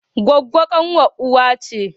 Gwaggwo kanwar uwa ce